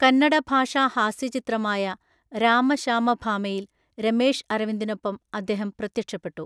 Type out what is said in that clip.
കന്നഡഭാഷാഹാസ്യചിത്രമായ രാമ ശാമ ഭാമയിൽ രമേഷ് അരവിന്ദിനൊപ്പം അദ്ദേഹം പ്രത്യക്ഷപ്പെട്ടു.